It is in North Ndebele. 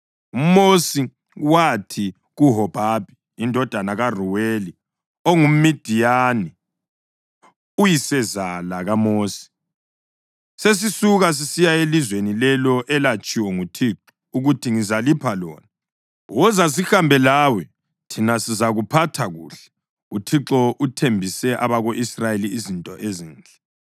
UMosi wathi kuHobhabhi indodana kaRuweli onguMidiyani uyisezala kaMosi, “Sesisuka sisiya elizweni lelo elatshiwo nguThixo ukuthi ‘Ngizalipha lona.’ Woza sihambe lawe thina sizakuphatha kuhle, uThixo uthembise abako-Israyeli izinto ezinhle.”